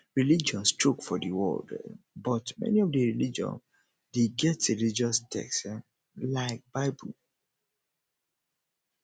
religions religions choke for di world um but many of di religion de get religous text um like bible